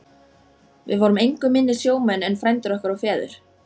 Við vorum engu minni sjómenn en frændur okkar og feður.